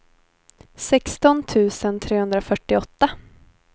sexton tusen trehundrafyrtioåtta